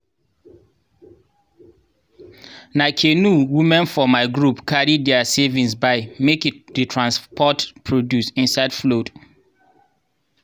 na canoe women for my group carry diir savings buy make e dey transport produce inside flood.